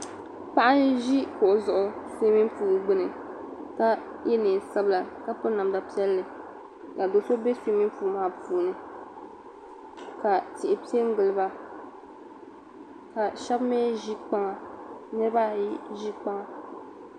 Paɣa n ʒi kuɣu zuɣu sumin puuli gbini ka ye niɛn'sabila ka piri namda piɛli ka do'so be suumin puuli maa puuni ka tihi piɛ n giliba ka sheba mee ʒi kpaŋa niriba ayi ʒi kpaŋa.